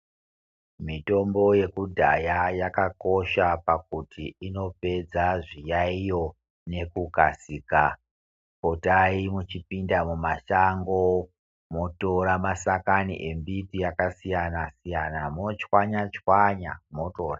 Mitombo yekudhaya yakakosha pakuti inopedza zviyaiyo nekukasika potai mwuchipinda mumashango motora mashakani embiti yakasiyana siyana mochwanya chwanya motorya.